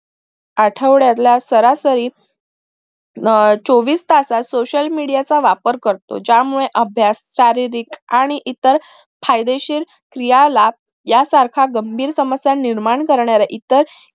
आठवड्याला सरासरी हम्म चोवीस तासात social media चा वापर करोत ज्यामुळे अभ्यास आणि शारीरिक आणि इतर फायदेशीर क्रियाला यासारख्या गंभीर समस्या निर्माण करणाऱ्या इतर